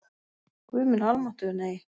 Guð minn almáttugur, nei!